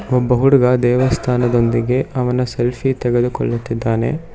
ಒಬ್ಬ ಹುಡುಗ ದೇವಸ್ಥಾನದೊಂದಿಗೆ ಅವನ ಸೆಲ್ಫಿ ತೆಗೆದುಕೊಳ್ಳುತಿದ್ದಾನೆ.